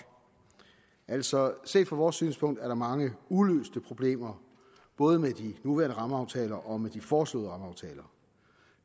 altså set fra vores synspunkt er der mange uløste problemer både med de nuværende rammeaftaler og med de foreslåede rammeaftaler